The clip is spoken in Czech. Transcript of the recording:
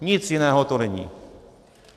Nic jiného to není.